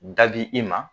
Dabi i ma